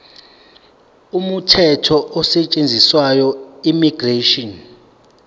umthetho osetshenziswayo immigration